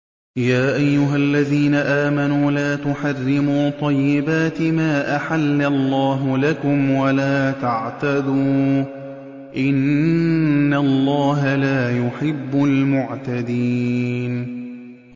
يَا أَيُّهَا الَّذِينَ آمَنُوا لَا تُحَرِّمُوا طَيِّبَاتِ مَا أَحَلَّ اللَّهُ لَكُمْ وَلَا تَعْتَدُوا ۚ إِنَّ اللَّهَ لَا يُحِبُّ الْمُعْتَدِينَ